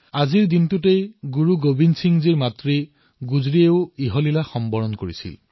আজিৰ দিনটোতেই গুৰু গোৱিন্দ সিংজীৰ মাতৃ মাতা গুজৰীও দেহত্যাগ কৰিছিল